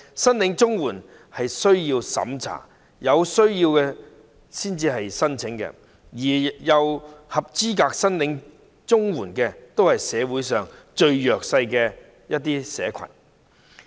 申領綜援需要接受審查，有需要者才會申請，符合資格領取綜援的人士都是社會上最弱勢的社群。